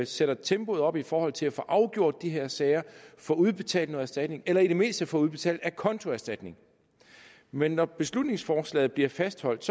sætter tempoet op i forhold til at få afgjort de her sager få udbetalt noget erstatning eller i det mindste få udbetalt acontoerstatning men når beslutningsforslaget bliver fastholdt